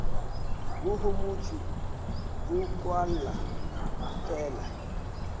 go homotšwe go kwala fela